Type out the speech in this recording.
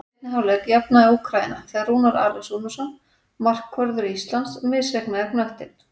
Í seinni hálfleik jafnaði Úkraína þegar Rúnar Alex Rúnarsson, markvörður Íslands, misreiknaði knöttinn.